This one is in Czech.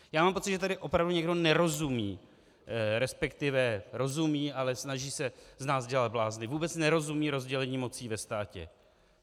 Já mám pocit, že tady opravdu někdo nerozumí, respektive rozumí, ale snaží se z nás dělat blázny, vůbec nerozumí rozdělení mocí ve státě.